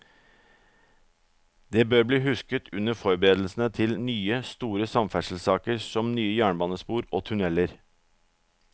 Det bør bli husket under forberedelsene til nye, store samferdselssaker som nye jernbanespor og tunneler.